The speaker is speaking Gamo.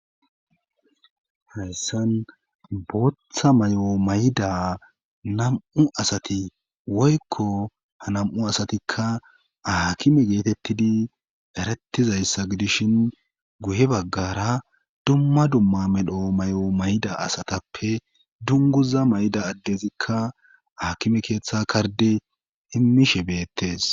Hayssan booththa may'o mayda nam'u asati woykko ha nam'u asatikka aakime geetettidi erattizayssa gidishin guhe baggara dumma dumma medho may'o mayda asatappe dunguza mayda addezikka haakime keeththe karde immishe beettes.